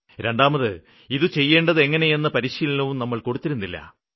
രണ്ടാമത് ഇത് ചെയ്യേണ്ടത് എങ്ങനെയെന്ന പരിശീലനവും കൊടുത്തിരുന്നില്ല